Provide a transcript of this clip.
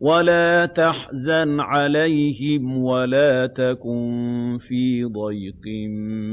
وَلَا تَحْزَنْ عَلَيْهِمْ وَلَا تَكُن فِي ضَيْقٍ